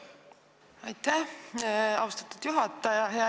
Aitäh, austatud juhataja!